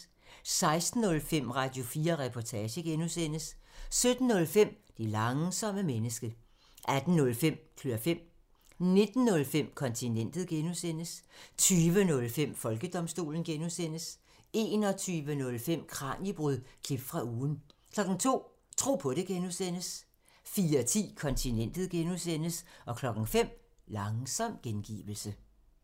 16:05: Radio4 Reportage (G) 17:05: Det langsomme menneske 18:05: Klør fem 19:05: Kontinentet (G) 20:05: Folkedomstolen 21:05: Kraniebrud – klip fra ugen 02:00: Tro på det (G) 04:10: Kontinentet (G) 05:00: Langsom gengivelse